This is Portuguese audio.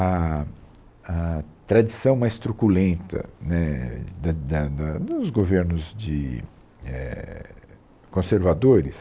A a tradição mais truculenta, né, da da da dos governos de éh conservadores